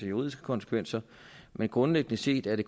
juridiske konsekvenser men grundlæggende set er det